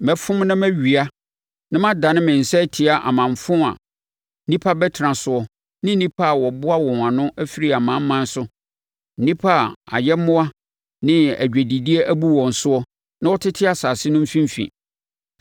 Mɛfom na mawia na madane me nsa atia amanfo a nnipa abɛtena soɔ ne nnipa a wɔaboa wɔn ano afiri amanaman so, nnipa a ayɛmmoa ne adwadideɛ abu wɔn soɔ na wɔtete asase no mfimfini.”